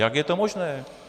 Jak je to možné?